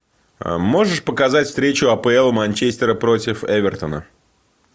можешь показать встречу апл манчестера против эвертона